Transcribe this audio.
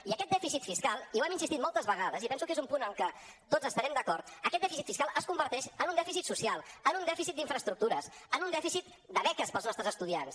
i aquest dèficit fiscal i hi hem insistit moltes vegades i penso que és un punt en què tots estarem d’acord aquest dèficit fiscal es converteix en un dèficit social en un dèficit d’infraestructures en un dèficit de beques per als nostres estudiants